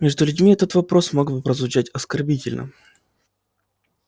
между людьми этот вопрос мог бы прозвучать оскорбительно